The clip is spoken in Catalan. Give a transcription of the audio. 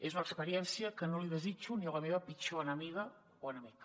és una ex·periència que no li desitjo ni a la meva pitjor enemiga o enemic